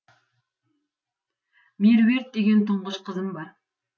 меруерт деген тұңғыш қызым бар